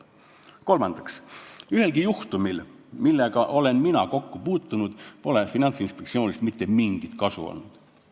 Kolmandaks, ühelgi juhtumil, millega mina olen kokku puutunud, pole Finantsinspektsioonist mitte mingit kasu olnud.